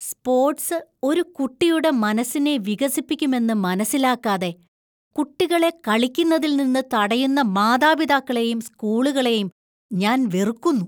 Sports ഒരു കുട്ടിയുടെ മനസ്സിനെ വികസിപ്പിക്കുമെന്ന് മനസിലാക്കാതെ ,കുട്ടികളെ കളിക്കുന്നതിൽ നിന്ന് തടയുന്ന മാതാപിതാക്കളെയും സ്കൂളുകളെയും ഞാൻ വെറുക്കുന്നു.